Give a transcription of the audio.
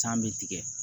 San bɛ tigɛ